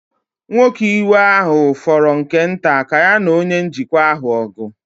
Nwoke iwe ahụ fọrọ nke nta ka ya na onye njikwa ahụ ọgụ.